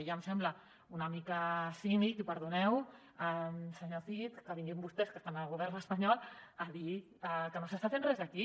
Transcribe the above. i em sembla una mica cínic i perdoneu senyor cid que vinguin vostès que estan al govern espanyol a dir que no s’està fent res aquí